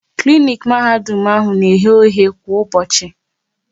Klinik Mahadum na eghe oghe kwa ụbọchị